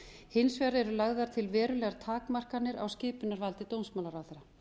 hins vegar eru lagðar til verulegar takmarkanir á skipunarvaldi dómsmálaráðherra